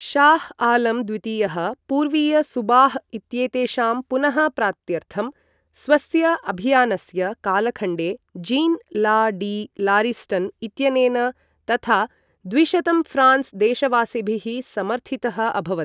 शाह् आलम् द्वितीयः, पूर्वीय सूबाह् इत्येतेषां पुनः प्राप्त्यर्थं, स्वस्य अभियानस्य कालखण्डे जीन् ला डी लारिस्टन् इत्यनेन तथा द्विशतं फ्रांस् देशवासिभिः समर्थितः अभवत्।